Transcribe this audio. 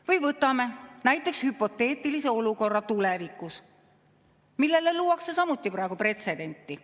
Või võtame näiteks hüpoteetilise olukorra tulevikus, millele luuakse samuti praegu pretsedenti.